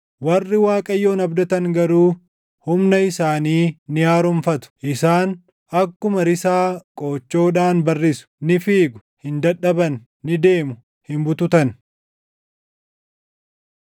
Warri Waaqayyoon abdatan garuu humna isaanii ni haaromfatu. Isaan akkuma risaa qoochoodhaan barrisu; ni fiigu; hin dadhaban; ni deemu; hin bututan.